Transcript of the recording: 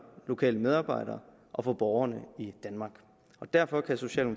lokale medarbejdere og borgerne i danmark og derfor kan